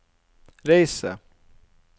reise